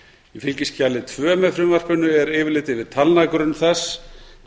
í fylgiskjali tvö með frumvarpinu er yfirlit yfir talnagrunn þess